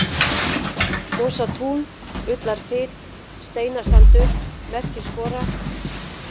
Mosatún, Ullarfit, Steinasandur, Merkiskora